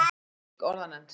Reykjavík: Orðanefnd.